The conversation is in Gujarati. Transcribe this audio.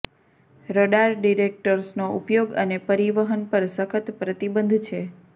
રડાર ડિટેક્ટર્સનો ઉપયોગ અને પરિવહન પર સખત પ્રતિબંધ છે